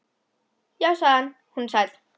Já, sagði hann, hún er sæt.